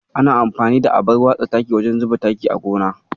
Ana amfani da abar watsa taki wajen zuba taki a gona.